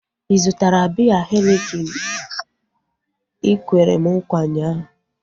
Ị zụtara biya henikin ikwere m nkwa ụnyaahụ?